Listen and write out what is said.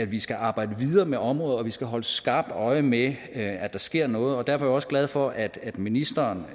vi skal arbejde videre med området og vi skal holde skarpt øje med at der sker noget derfor også glad for at ministeren